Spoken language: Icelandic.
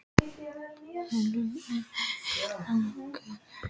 Váli, hvaða myndir eru í bíó á laugardaginn?